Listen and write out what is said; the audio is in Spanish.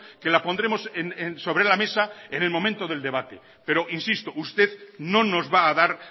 que la pondremos sobre la mesa en el momento del debate pero insisto usted no nos va a dar